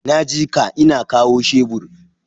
Naji ka, ina kawo shebur.